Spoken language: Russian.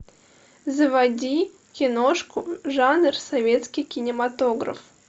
заводи киношку жанр советский кинематограф